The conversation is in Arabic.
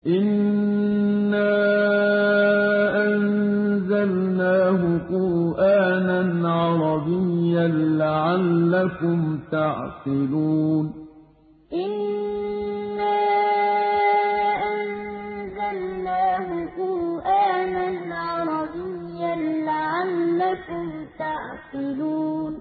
إِنَّا أَنزَلْنَاهُ قُرْآنًا عَرَبِيًّا لَّعَلَّكُمْ تَعْقِلُونَ إِنَّا أَنزَلْنَاهُ قُرْآنًا عَرَبِيًّا لَّعَلَّكُمْ تَعْقِلُونَ